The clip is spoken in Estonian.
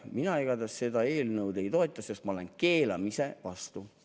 Mina igatahes seda eelnõu ei toeta, sest ma olen keelamise vastu.